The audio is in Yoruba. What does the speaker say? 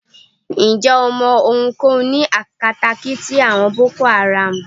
Ǹjẹ́ o mọ ohunkóhun ní akatakíti àwọn Boko Haram?